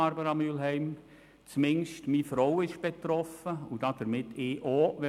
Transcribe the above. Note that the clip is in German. Wenn wir in Bern wären, wäre meine Frau betroffen – und damit auch ich.